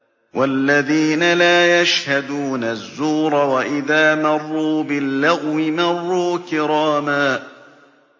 وَالَّذِينَ لَا يَشْهَدُونَ الزُّورَ وَإِذَا مَرُّوا بِاللَّغْوِ مَرُّوا كِرَامًا